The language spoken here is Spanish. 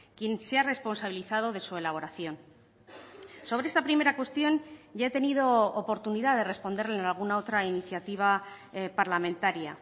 quien se ha responsabilizado de su elaboración sobre esta primera cuestión ya he tenido oportunidad de responderle en alguna otra iniciativa parlamentaria